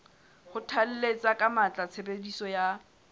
kgothalletsa ka matla tshebediso ya